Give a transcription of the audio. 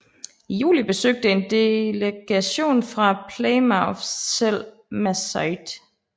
I juli besøgte en delegation fra Plymouth selv Massasoit